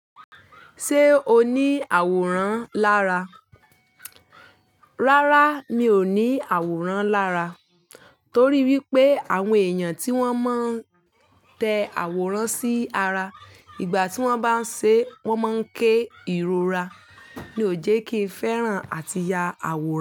Ṣé o ní àwòrán lára? Rárá, mi ò ní àwòrán lára. Torí wípé àwọn èèyàn tí wón máa ń tẹ àwòrán sí ara ìgbà tí wón bá ń ṣe, wón máa ń ké ìrora. Mi ò jẹ́ kí ń fẹ́ràn àti ya àwòrán.